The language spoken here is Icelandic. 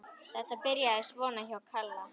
Þetta byrjaði svona hjá Kalla.